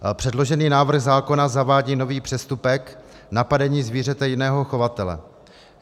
Předložený návrh zákona zavádí nový přestupek - napadení zvířete jiného chovatele.